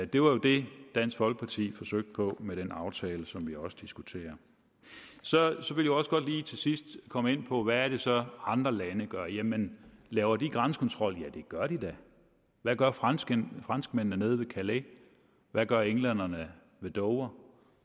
det var jo det dansk folkeparti forsøgte på med den aftale som vi også diskuterer så vil jeg også godt lige til sidst komme ind på hvad det så er andre lande gør jamen laver de grænsekontrol ja det gør de da hvad gør franskmændene franskmændene nede ved calais hvad gør englænderne ved dover